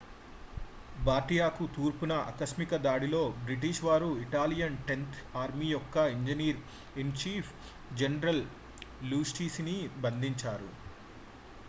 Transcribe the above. బార్డియాకు తూర్పున ఆకస్మిక దాడిలో బ్రిటిష్ వారు ఇటాలియన్ టెన్త్ ఆర్మీ యొక్క ఇంజనీర్-ఇన్-చీఫ్ జనరల్ లాస్టూసిని బంధించారు